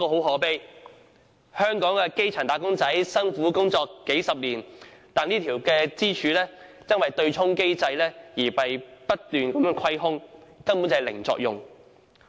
可悲的是，香港的基層"打工仔"辛苦工作數十載，但這根支柱卻因為對沖機制而被不斷蠶食，以致未能發揮作用。